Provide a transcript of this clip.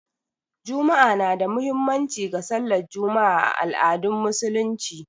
Juma'a na da muhimmanci ga sallar Juma'a a al'adun Musulunci